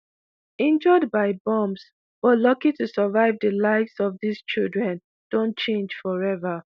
injured by bombs but lucky to survive di lives of dis children don change forever